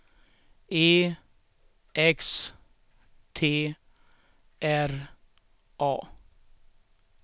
E X T R A